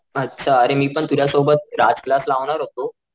अच्छा अरे मी व तुझ्या सोबत राज क्लास लावणार होतो